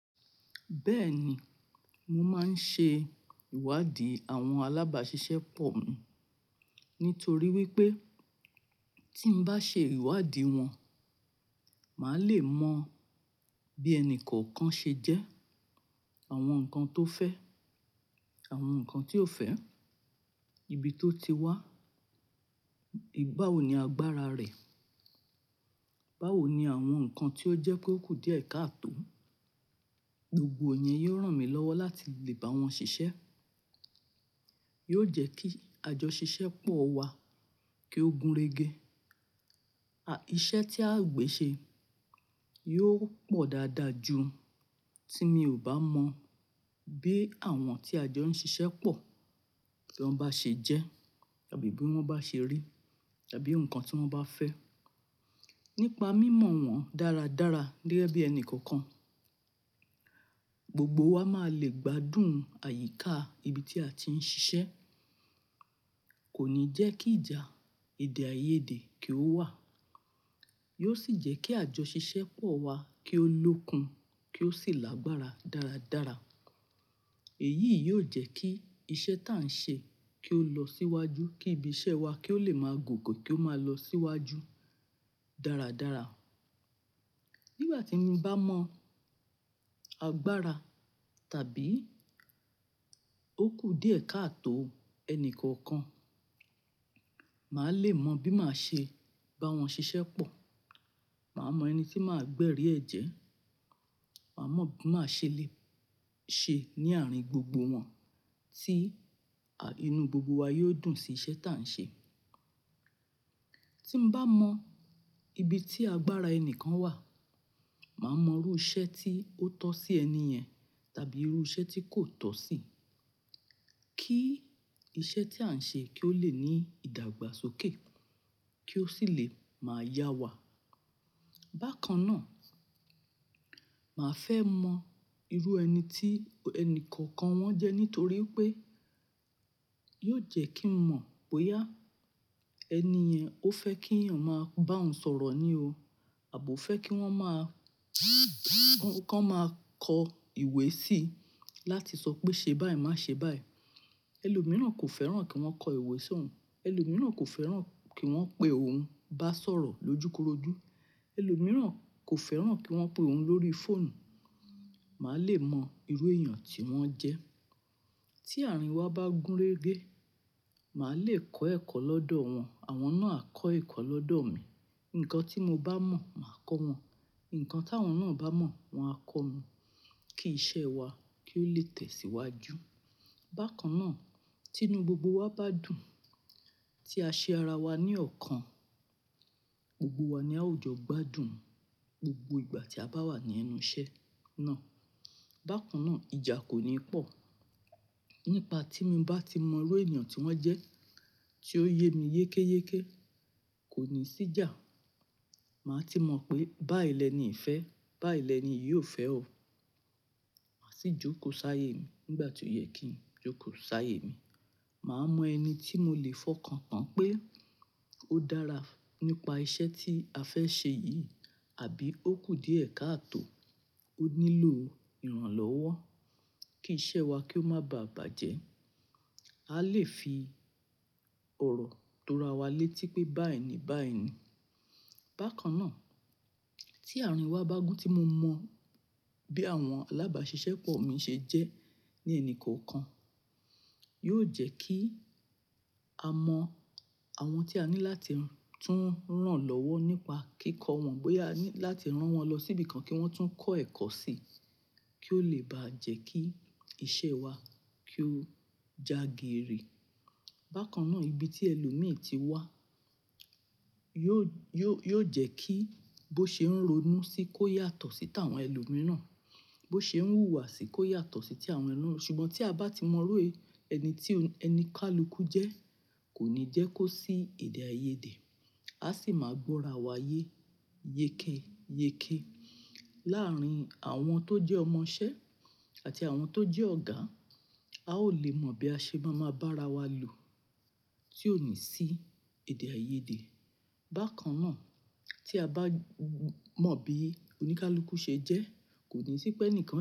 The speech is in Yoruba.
Bẹ́ẹ̀ ni, mo máa ń ṣe ìwádìí àwọn alábàáṣiṣẹ́ pọ̀ mi. Nítorí wípé tí n bá ṣe ìwádìí wọn, màá le mọ bí ẹni kọ̀ọ̀kan ṣe jẹ́, àwọn nǹkan tó fẹ́, àwọn nǹkan tí ò fẹ́, ibi tó ti wá, ìgbà wo ni agbára rẹ̀, báwo ni àwọn nǹkan tí ó jẹ́ kó kù díẹ̀ káàtò. Gbogbo ìyẹn yóò ràn mí lọ́wọ́ láti lè bá wọn ṣiṣẹ́. Yóò jẹ́ kí àjọ ṣiṣẹ́ pọ̀ wá, kí ó gúnrégé. Iṣẹ́ tí a ò gbe ṣe yóò pọ̀ dáadáa ju tí mi ò bá mọ bí àwọn tí a jọ ń ṣiṣẹ́ pọ̀ bí wọ́n bá ṣe jẹ́ àbí bí wọ́n bá ṣe rí àbí nǹkan tí wọ́n bá fẹ́. Nípa mímọ̀ wọ́n dáradára gẹ́gẹ́ bí ẹni kọ̀ọ̀kan, gbogbo wa máa le gbádùn àyíká ibi tí a ti ń ṣiṣẹ́. Kò ní jẹ́ kí ìjà èdè-àìyedè kí ó wà. Yóò sì jẹ́ kí àjọ ṣiṣẹ́ pọ̀ wá kí ó lókun kí ó sì lágbára dáradára. Èyí yóò jẹ́ kí iṣẹ́ tí à ń ṣe kí ó lọ síwájú, kí ibi iṣẹ́ wa kí ó le máa gòkè kí ó máa lọ síwájú dáradára. Nígbà tí mo bá mọ agbára tàbí ó kù díẹ̀ káàtò ẹni kọ̀ọ̀kan, màá le mọ bí màá ṣe bá wọn ṣiṣẹ́ pọ̀. Màá mọ ẹni tí màá gbẹ̀rí ẹ̀jẹ́, màá mọ̀ bí màá ṣe lè ṣe ní àárín gbogbo wọn tí inú gbogbo wa yóò dùn sí iṣẹ́ tí à ń ṣe. Tí n bá mọ ibi tí agbára ẹni kan wà, màá mọ irú iṣẹ́ tí ó tọ́ sí ẹni yẹn tàbí irú iṣẹ́ tí kò tọ́ sí i. Kí iṣẹ́ tí à ń ṣe kí ó le ní ìdàgbàsókè kí ó sì lè máa yá wa. Bákan náà, màá fẹ́ mọ irú ẹni tí ẹni kọ̀ọ̀kan wọn jẹ́ nítorí pé yóò jẹ́ kí n mọ̀ bóyá ẹni yẹn ó fẹ́ kí èèyàn máa bá òun sọ̀rọ̀ ni o àbo fẹ́ kí wọ́n máa kọ́ máa kọ ìwé sí i láti sọ pé ṣe báyìí, má ṣe báyìí. Ẹlòmíràn kò fẹ́ràn kí wọ́n kọ ìwé sí òun. Ẹlòmíràn kò fẹ́ràn kí wọ́n pè óún bá sọ̀rọ̀ lójúkorojú. Ẹlòmírán kò fẹ́ràn kí wọ́n pè óún lórí fóònù. Màá lè mọ irú èèyàn tí wọ́n jẹ́. Tí àárín wa bá gúnrégé, màá le kọ ẹ̀kọ́ lọ́dọ̀ wọn, àwọn náà a kọ ẹ̀kọ́ lọ́dọ̀ mi. Ǹkan tí mo bá mọ̀, màá kọ́ wọn. Ǹkan tí àwọn náà bá mọ̀, wọn á kọ́ mi kí iṣẹ́ wa kí ó lè tẹ̀síwájú. Bákan náà, tí inú gbogbo wa bá dùn tí a ṣe ara wa ní ọ̀kan, gbogbo wa ni a ó jọ gbádùn gbogbo ìgbà tí a bá wà ní ẹnu iṣẹ́ náà. Bákan náà, ìjà kò ní pọ̀ nípa tí mo bá ti mọ irú èèyàn tí wọ́n jẹ́ tí ó yé mi yékéyéké. Kò ní sí ìjà. Màá ti mọ̀ pé báyìí ni ẹnì yi fẹ, báyìí ni ẹni yi ò fẹ́ o. Màá sì jókòó sáyé mi nígbà tí ó yẹ kí n jókòó sáyé mi. Màá mọ ẹni tí mo lè fọkàn tán pé ó dára nípa iṣẹ́ tí a fẹ́ ṣe yìí àbí ó kù díẹ̀ káàtò. Ó nílò ìrànlọ́wọ́ kí iṣẹ́ wa kí ó má báà bàjẹ́. A lè fi ọ̀rọ̀ tora wa létí pé báyìí ni báyìí nì. Bákan náà, tí àárín wa bá gún tí mo mọ bí àwọn alábáàṣiṣẹ́ pọ̀ mi ṣe jẹ́ ní ẹni kọ̀ọ̀kan, yóò jẹ́ kí a mọ àwọn tí a ní láti tún ràn lọ́wọ́ nípa kíkọ́ wọn, bóyá ní láti rán wọn lọ síbi kan kí wọ́n tún kọ́ ẹ̀kọ́ sí i kí ó lè bá jẹ́ kí iṣẹ́ wa kí ó jàgere. Bákan náà, ibi tí ẹlòmíràn tí wá yóò, yóò, yóò jẹ́ kí bó ṣe ń ronú sí i kó yàtọ̀ sí ti àwọn ẹlòmíràn. Bó ṣe ń wúwa sí i kó yàtọ̀ sí ti àwọn ẹlòmíràn. Ṣùgbọ́n tí a bá ti mọ irú ẹni tí oníkálukú jẹ́ kò ní jẹ́ kó sí èdè-àìyedè. A sì máa gbọ́ra wa yé yékéyéké láàárín àwọn tó jẹ́ ọmọṣẹ́ àti àwọn tó jẹ́ ọ̀gá. A ó lè mọ bí a ṣe máa ma bá ara wa lò tí ò ní sí èdè-àìyedè. Bákan náà, tí a bá mọ bí oníkálukú ṣe jẹ́ kò ní sí pé ẹnìkan.